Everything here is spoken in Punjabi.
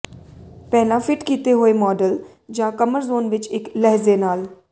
ਪਹਿਲਾਂ ਫਿਟ ਕੀਤੇ ਹੋਏ ਮਾਡਲ ਜਾਂ ਕਮਰ ਜ਼ੋਨ ਵਿੱਚ ਇੱਕ ਲਹਿਜੇ ਨਾਲ